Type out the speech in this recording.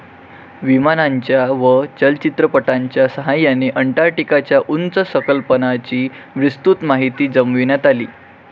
विमानांच्या व चलचित्रपटांच्या सहाय्याने अंटार्क्टिकाच्या उंच सकलपणाची विस्तृत माहिती जमविण्यात आली.